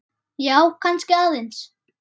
Já, kannski aðeins.